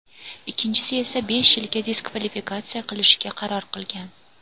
ikkinchisini esa besh yilga diskvalifikatsiya qilishga qaror qilgan.